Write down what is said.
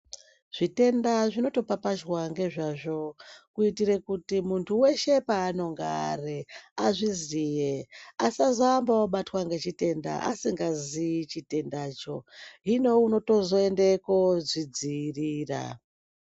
Zvitenda zvinotopapazhwa nezvazvo kuitira kuti muntu weshe pavanenge Ari azvizive asazoamba obatwa nechitenda asingazivi chitenda cho hino unotozoenda kozvidziirira.